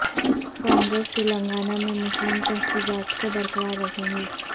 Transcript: کانگریس تلنگانہ میں مسلم تحفظات کو برقرار رکھے گی